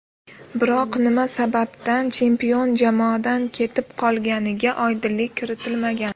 Biroq nima sababdan chempion jamoadan ketib qolganiga oydinlik kiritilmagan.